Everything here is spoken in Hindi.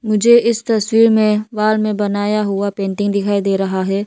मुझे इस तस्वीर में वॉल में बनाया हुआ पेंटिंग दिखाई दे रहा है।